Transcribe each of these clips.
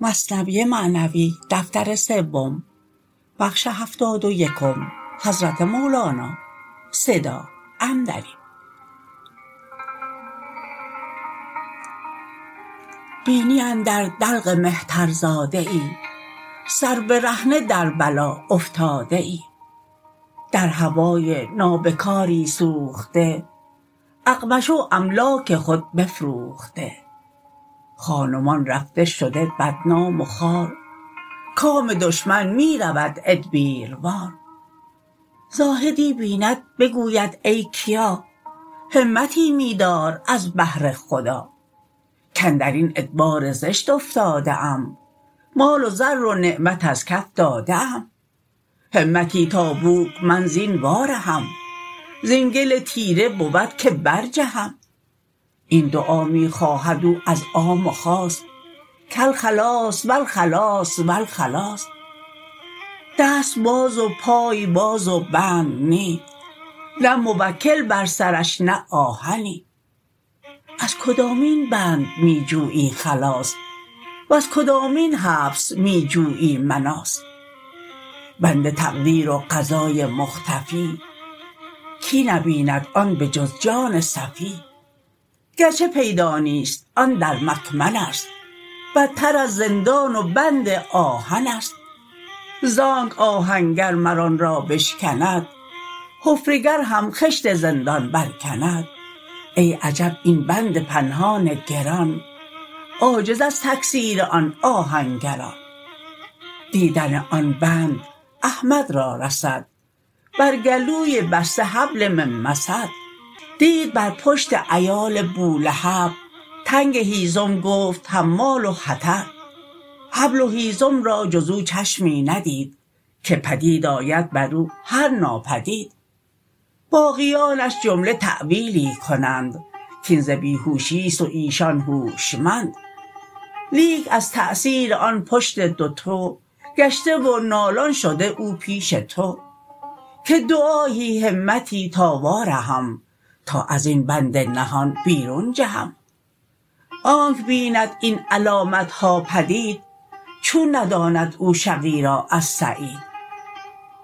بینی اندر دلق مهتر زاده ای سر برهنه در بلا افتاده ای در هوای نابکاری سوخته اقمشه و املاک خود بفروخته خان و مان رفته شده بدنام و خوار کام دشمن می رود ادبیروار زاهدی بیند بگوید ای کیا همتی می دار از بهر خدا کاندرین ادبار زشت افتاده ام مال و زر و نعمت از کف داده ام همتی تا بوک من زین وا رهم زین گل تیره بود که بر جهم این دعا می خواهد او از عام و خاص کالخلاص و الخلاص و الخلاص دست باز و پای باز و بند نی نه موکل بر سرش نه آهنی از کدامین بند می جویی خلاص وز کدامین حبس می جویی مناص بند تقدیر و قضای مختفی کی نبیند آن به جز جان صفی گرچه پیدا نیست آن در مکمنست بتر از زندان و بند آهنست زانک آهنگر مر آن را بشکند حفره گر هم خشت زندان بر کند ای عجب این بند پنهان گران عاجز از تکسیر آن آهنگران دیدن آن بند احمد را رسد بر گلوی بسته حبل من مسد دید بر پشت عیال بولهب تنگ هیزم گفت حماله حطب حبل و هیزم را جز او چشمی ندید که پدید آید برو هر ناپدید باقیانش جمله تاویلی کنند کین ز بیهوشیست و ایشان هوشمند لیک از تاثیر آن پشتش دوتو گشته و نالان شده او پیش تو که دعایی همتی تا وا رهم تا ازین بند نهان بیرون جهم آنک بیند این علامتها پدید چون نداند او شقی را از سعید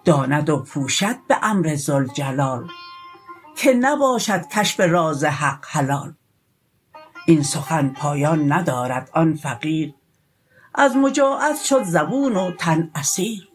داند و پوشد بامر ذوالجلال که نباشد کشف راز حق حلال این سخن پایان ندارد آن فقیر از مجاعت شد زبون و تن اسیر